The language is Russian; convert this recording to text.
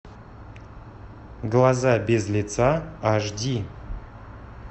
глаза без лица аш ди